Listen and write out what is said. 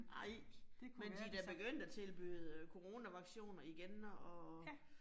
Nej. Men de da begyndt at tilbyde coronavaccinationer igen og